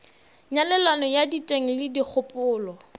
nyalelano ya diteng le dikgopolo